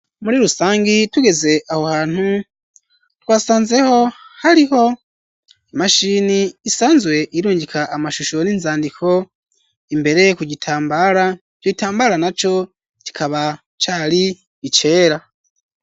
muri rusangi tugeze aho hantu twasanzeho hariho imashini isanzwe irungika amashusho n'inzandiko imbere ku gitambara ico itambara naco kikaba cari icera.